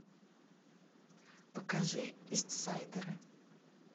покажи истсайдеры